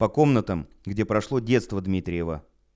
по комнатам где прошло детство дмитриева